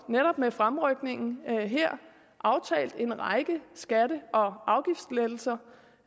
med fremrykningen aftalt en række skatte og afgiftslettelser